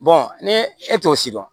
ni e t'o si dɔn